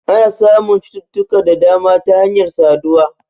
Ana samun cututtuka da dama ta hanyar saduwa